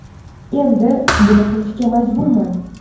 Endi buni qilishga majburman.